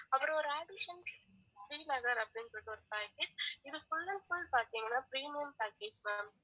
அப்பறம் ஒரு ஸ்ரீநகர் அப்படின்னு சொல்லிட்டு ஒரு package இது full and full பாத்திங்கனா premium package ma'am